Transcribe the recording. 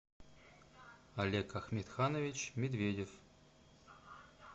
олег ахметханович медведев